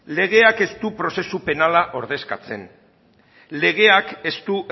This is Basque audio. legeak ez du prozesu penala ordezkatzen legeak ez du